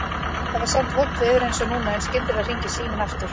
Það var samt vont veður, einsog núna, en skyndilega hringir síminn aftur.